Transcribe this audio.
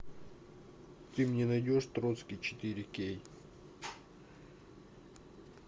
ты мне найдешь троцкий четыре кей